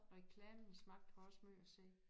Reklamens magt har også måj at sige